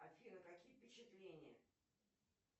афина какие впечатления